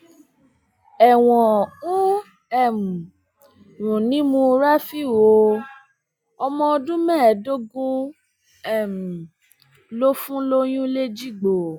ẹwọn ń um rùn nímú rafiu o ọmọ ọdún mẹẹẹdógún um ló fún lóyún lẹjìgbò